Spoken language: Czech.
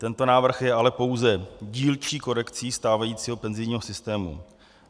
Tento návrh je ale pouze dílčí korekcí stávajícího penzijního systému.